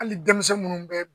Hali denmisɛn minnu bɛ